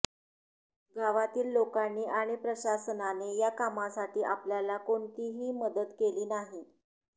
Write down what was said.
गावातील लोकांनी आणि प्रशासनाने या कामासाठी आपल्याला कोणतीही मदत केली नाही